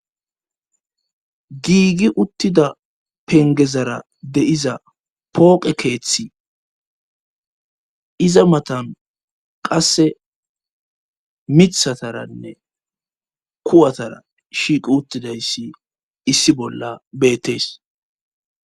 giigi uttida pengezara deiza pooqe keeththi iza matan qasse mithataranne kuwatara shiiqi uttidayssi issi bolla beettees